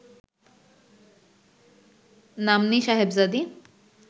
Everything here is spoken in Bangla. নাম্নী সাহেবজাদী